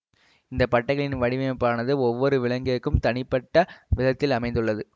இந்த பட்டைகளின் வடிவமைப்பானது ஒவ்வொரு விலங்கிற்கும் தனிப்பட்ட விதத்தில் அமைந்துள்ளது